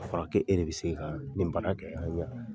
A fɔra ko e de bi se ka nin baara kɛ ka ɲa.